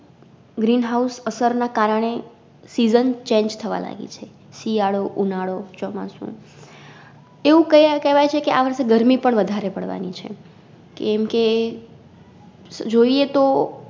Green house અસર ના કારણે SeasonChange થવા લાગી છે શિયાળો, ઉનાળો, ચોમાસું એવું કયા કેવાય છે કે આ વરસે ગરમી પણ વધારે પાડવાની છે કેમ કે જોઈએ તો